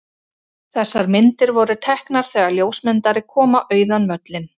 Þessar myndir voru teknar þegar ljósmyndari kom á auðan völlinn.